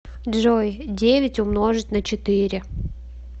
джой девять умножить на четыре